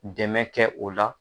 Dɛmɛ kɛ o la.